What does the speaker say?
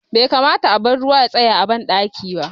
Bai kamata a bar ruwa ya tsaya a ban ɗaki ba